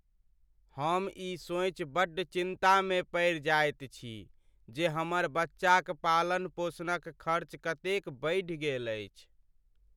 हम ई सोचि बड्ड चिन्तामे पड़ि जाइत छी जे हमर बच्चाक पालन पोषणक खर्च कतेक बढ़ि गेल अछि।